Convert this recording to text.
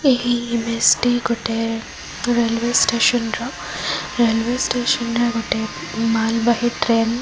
ଏହି ଇମେଜ ଟି ଗୋଟେ ରେଲୁୟ ଷ୍ଟେସନ ର ରେଲୁ୍ୟ ଷ୍ଟେସନ ରେ ଗୋଟେ ମାଲବାହି ଟ୍ରେନ --